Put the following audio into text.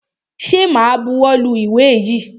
Ṣẹ ma buwọ́ lu ìwé yìí?